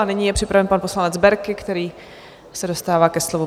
A nyní je připraven pan poslanec Berki, který se dostává ke slovu.